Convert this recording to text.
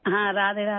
हाँ राधेराधे